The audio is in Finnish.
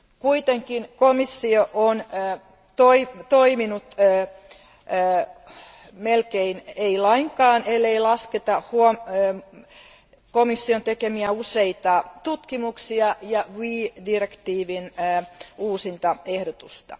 Kuitenkin komissio on toiminut melkein ei lainkaan, ellei lasketa komission tekemiä useita tutkimuksia ja RE direktiivin uusintaehdotusta.